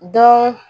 Dɔn